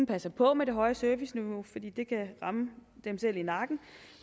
passer på med det høje serviceniveau fordi det kan ramme dem selv i nakken